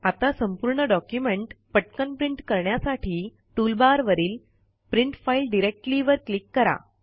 आता संपूर्ण डॉक्युमेंट पटकन् प्रिंट करण्यासाठी टूल बार वरील प्रिंट फाइल डायरेक्टली वर क्लिक करा